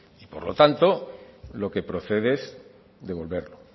por lo tanto lo que procede es devolverlo